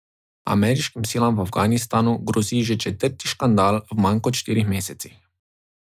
Ameriškim silam v Afganistanu grozi že četrti škandal v manj kot štirih mesecih.